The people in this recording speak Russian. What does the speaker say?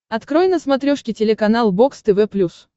открой на смотрешке телеканал бокс тв плюс